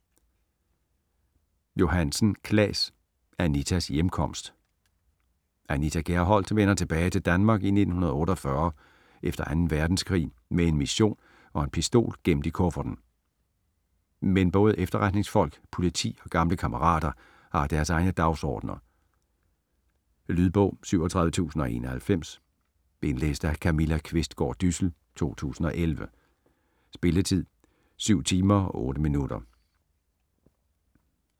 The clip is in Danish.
Johansen, Claes: Anitas hjemkomst Anita Gerholdt vender tilbage til Danmark i 1948 efter 2. verdenskrig med en mission og en pistol gemt i kufferten. Men både efterretningsfolk, politi og gamle kammerater har deres egne dagsordner. Lydbog 37091 Indlæst af Camilla Qvistgaard Dyssel, 2011. Spilletid: 7 timer, 8 minutter.